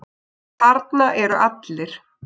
Þarna eru allir.